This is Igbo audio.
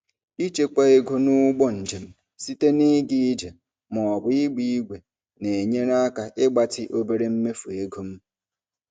Ịchekwa ego n'ụgbọ njem site na ịga ije ma ọ bụ ịgba ígwè na-enyere aka ịgbatị obere mmefu ego m.